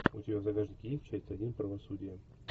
у тебя в загашнике есть часть один правосудие